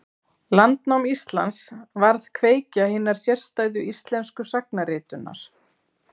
Landnám Íslands varð kveikja hinnar sérstæðu íslensku sagnaritunar.